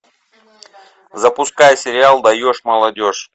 запускай сериал даешь молодежь